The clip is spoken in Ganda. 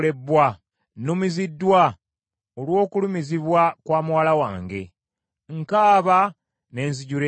Nnumiziddwa olw’okulumizibwa kwa muwala wange. Nkaaba ne nzijula ennaku.